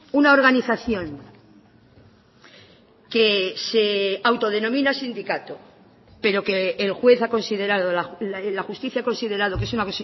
una organización que se autodenomina sindicato pero que el juez ha considerado la justicia ha considerado que es una